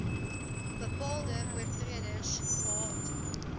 bepaalde oortreders gehad